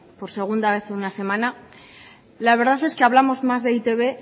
por segunda vez en una semana la verdad es que hablamos más de e i te be